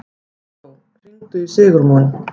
Októ, hringdu í Sigurmon.